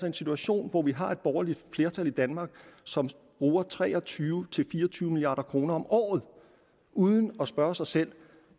en situation hvor vi har et borgerligt flertal i danmark som bruger tre og tyve til fire og tyve milliard kroner om året uden at spørge sig selv